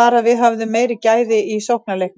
var við höfðum meiri gæði í sóknarleiknum.